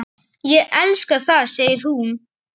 Ég elska það, segir hún.